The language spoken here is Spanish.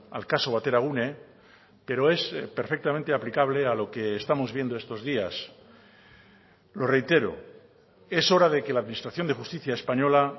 al caso bateragune pero es perfectamente aplicable a lo que estamos viendo estos días lo reitero es hora de que la administración de justicia española